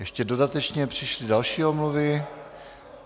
Ještě dodatečně přišly další omluvy.